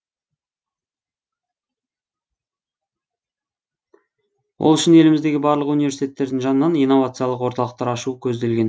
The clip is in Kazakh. ол үшін еліміздегі барлық университеттердің жанынан инновациялық орталықтар ашу көзделген